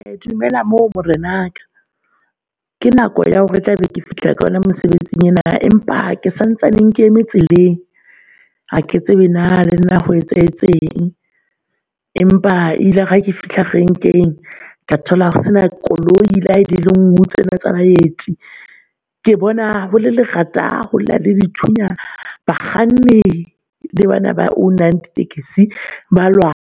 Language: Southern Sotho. E dumela moo morenaka ke nako ya hore tla be ke fihla ka yona mosebetsing ena. Empa ke santsaneng ke eme tseleng, ha ke tsebe na le nna ho etsahetseng empa ilare hake fihla renkeng. Ka thola ho sena koloi lehae le ngwe tsena tsa baeti. Ke bona hole lerata holla dithunya bakganni le bana ba own-ang taxi balwana.